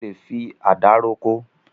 O lè fi àdá roko.